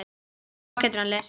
Svo getur hann lesið.